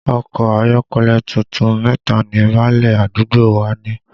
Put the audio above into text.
Ọkọ ayọ́kẹ́lẹ́ tuntun mẹ́ta ni báálẹ̀ àdúgbò wa ní